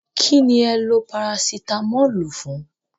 Kí ni ẹ lo Parasitamọ́ọ̀lù fún?